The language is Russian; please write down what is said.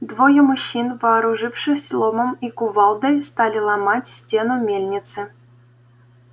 двое мужчин вооружившись ломом и кувалдой стали ломать стену мельницы